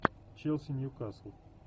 челси ньюкасл